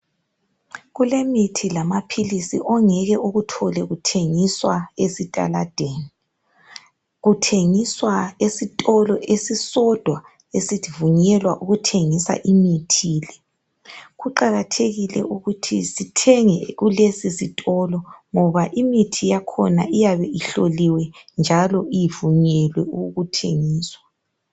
Kulemithi lamaphilisi ongeke ukuthole kuthengiswa ezitaladeni. Kuthengiswa esitolo esisodwa esivunyelwa ukuthengisa imithi le. Kuqakathekile ukuthi sithenge kulesisitolo ngoba imithi yakhona iyabe ihloliwe njalo ivunyelwe ukuthengiswa.